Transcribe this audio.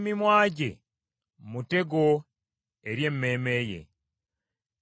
Akamwa k’omusirusiru ke kamuleetera okuzikirira, era n’emimwa gye mutego eri emmeeme ye.